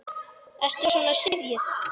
Ertu svona syfjuð?